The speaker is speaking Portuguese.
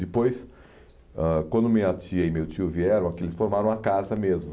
Depois ãh quando minha tia e meu tio vieram aqui, eles formaram uma casa mesmo.